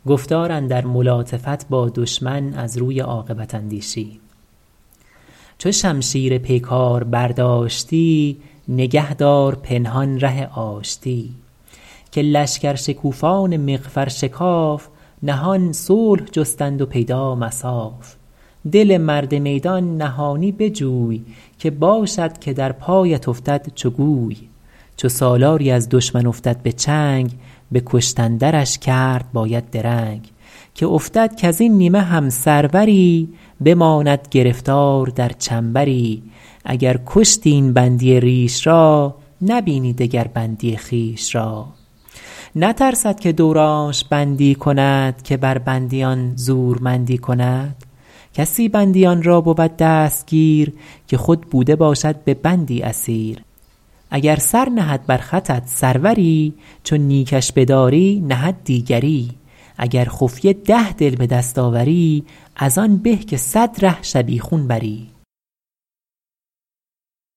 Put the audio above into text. چو شمشیر پیکار برداشتی نگه دار پنهان ره آشتی که لشکر شکوفان مغفر شکاف نهان صلح جستند و پیدا مصاف دل مرد میدان نهانی بجوی که باشد که در پایت افتد چو گوی چو سالاری از دشمن افتد به چنگ به کشتن درش کرد باید درنگ که افتد کز این نیمه هم سروری بماند گرفتار در چنبری اگر کشتی این بندی ریش را نبینی دگر بندی خویش را نترسد که دورانش بندی کند که بر بندیان زورمندی کند کسی بندیان را بود دستگیر که خود بوده باشد به بندی اسیر اگر سر نهد بر خطت سروری چو نیکش بداری نهد دیگری اگر خفیه ده دل بدست آوری از آن به که صد ره شبیخون بری